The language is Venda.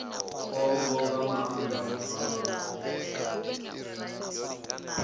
khombo nga maanḓa u fana